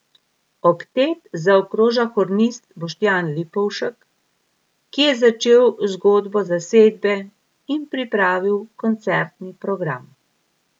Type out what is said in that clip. Oktet zaokroža hornist Boštjan Lipovšek, ki je začel zgodbo zasedbe in pripravil koncertni program.